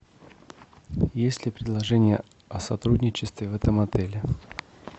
есть ли предложения о сотрудничестве в этом отеле